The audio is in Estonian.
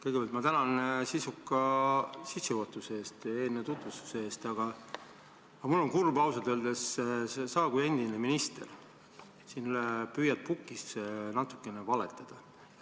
Kõigepealt ma tänan sisuka sissejuhatuse ja eelnõu tutvustuse eest, aga mul on ausalt öeldes kurb, et sina, endine minister, püüad pukis natukene valetada.